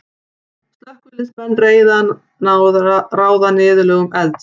Slökkviliðsmenn reyna að ráða niðurlögum elds.